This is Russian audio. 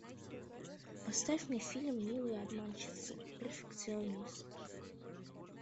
поставь мне фильм милые обманщицы перфекционист